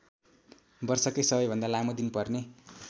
वर्षकै सबैभन्दा लामो दिन पर्ने